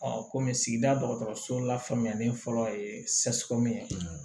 kɔmi sigida dɔgɔtɔrɔso la faamuyalen fɔlɔ ye ye